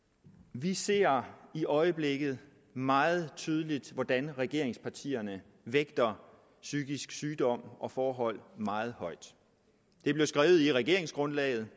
vi ser i øjeblikket meget tydeligt hvordan regeringspartierne vægter psykisk sygdom og forholdene i meget højt det blev skrevet i regeringsgrundlaget